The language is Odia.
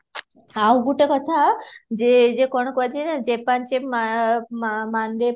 ଆଉ ଗୋଟେ କଥା ଯେ ଯେ କ'ଣ କୁହ ଯାଏ ନା ଯେ ପାଞ୍ଚେ ମା ମାନ୍ଦେ